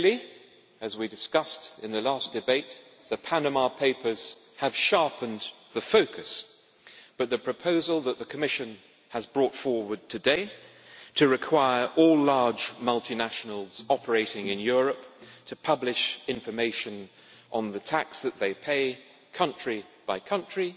Clearly, as we discussed in the last debate, the Panama Papers have sharpened the focus, but the proposal that the Commission has brought forward today, to require all large multinationals operating in Europe to publish information on the tax that they pay country by country,